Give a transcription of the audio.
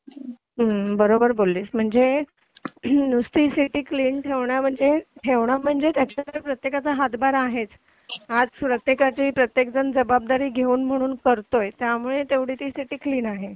हो बरोबर बोललीस म्हणजे नुसती सिटी क्लीन ठेवणं म्हणजे ठेवणं म्हणजे त्याच्यामध्ये प्रत्येकाचा हातभार आहेच आज प्रत्येकाची प्रत्येक जण जबाबदारी घेऊन म्हणून त्यामुळे तेवढी ती सिटी क्लीन आहे